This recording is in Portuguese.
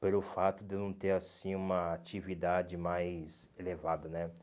Pelo fato de eu não ter assim uma atividade mais elevada, né?